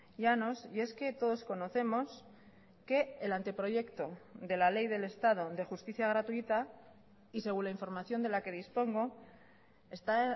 llanos y es que todos conocemos que el ante proyecto de la ley del estado de justicia gratuita y según la información de la que dispongo está